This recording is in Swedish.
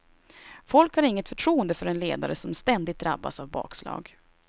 Folk har inget förtroende för en ledare som ständigt drabbas av bakslag.